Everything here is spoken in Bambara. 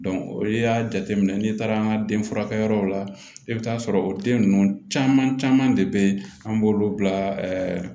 n'i y'a jateminɛ n'i taara den furakɛ yɔrɔw la i bɛ taa sɔrɔ o den ninnu caman caman de bɛ yen an b'olu bila